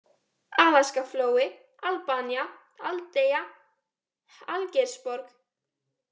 Alaskaflói, Albanía, Aldeigja, Algeirsborg